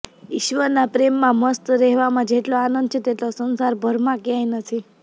ઈશ્વરના પ્રેમમાં મસ્ત રહેવામાં જેટલો આનંદ છે તેટલો સંસારભરમાં ક્યાંય નથી